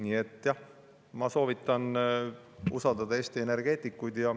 Nii et jah, ma soovitan usaldada Eesti energeetikuid.